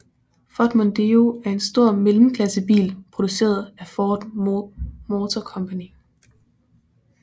Ford Mondeo er en stor mellemklassebil produceret af Ford Motor Company